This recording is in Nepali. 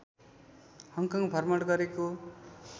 हङकङ भ्रमण गरेको